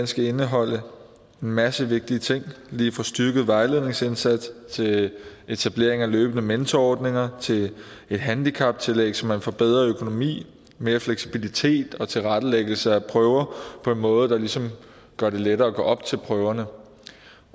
skal indeholde en masse vigtige ting lige fra styrket vejledningsindsats til etablering af løbende mentorordninger et handicaptillæg så man får en bedre økonomi mere fleksibilitet og tilrettelæggelse af prøver på en måde der ligesom gør det lettere at gå op til prøverne